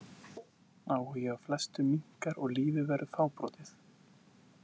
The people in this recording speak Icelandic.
Áhugi á flestu minnkar og lífið verður fábrotið.